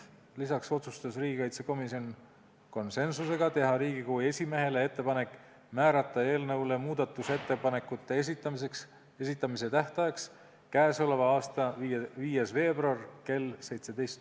Lisaks otsustas riigikaitsekomisjon konsensusega teha Riigikogu esimehele ettepanek määrata muudatusettepanekute esitamise tähtajaks k.a 5. veebruari kell 17.